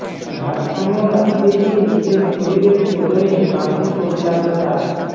ভারসাম্য রাখতে গিয়ে নিজের শরীরের ওজনে কাঁধে চোট লাগল তার